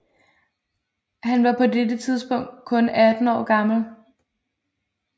Han var på det tidspunkt kun 18 år gammel